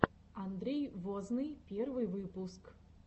андрей возный первый выпуск